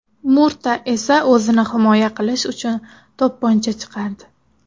Murta esa o‘zini himoya qilish uchun to‘pponcha chiqardi.